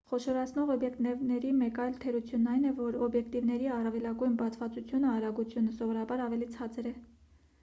խոշորացնող օբյեկտիվների մեկ այլ թերությունն այն է որ օբյեկտիվների առավելագույն բացվածությունը արագությունը սովորաբար ավելի ցածր է։